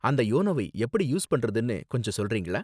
அந்த யோனோவை எப்படி யூஸ் பண்றதுனு கொஞ்சம் சொல்றிங்களா?